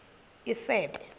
isebe